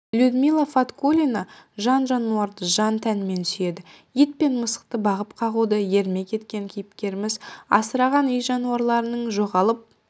людмила фаткуллина жан-жануарды жан-тәнімен сүйеді ит пен мысықты бағып-қағуды ермек еткен кейіпкеріміз асыраған үй жануарларының жоғалып